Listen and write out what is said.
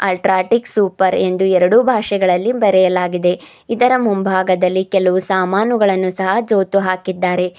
UltraTech super ಎಂದು ಎರಡು ಭಾಷೆಗಳಲ್ಲಿ ಬರೆಯಲಾಗಿದೆ ಇದರ ಮುಂಭಾಗದಲ್ಲಿ ಕೆಲವು ಸಮಾನುಗಳನ್ನು ಸಹ ಜೋತು ಹಾಕಿದ್ದಾರೆ.